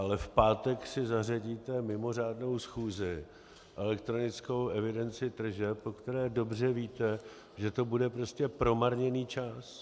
Ale v pátek si zařadíte mimořádnou schůzi, elektronickou evidenci tržeb, o které dobře víte, že to bude prostě promarněný čas.